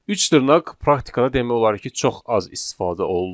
Üç dırnaq praktikada demək olar ki, çox az istifadə olunur.